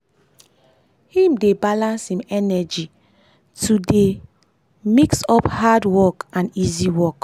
him dey balans im energy to de energy to de mix up hard work and easy work.